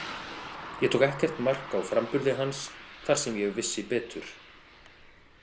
Ég tók ekkert mark á framburði hans þar sem ég vissi betur.